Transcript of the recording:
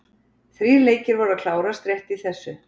Þrír leikir voru að klárast rétt í þessu.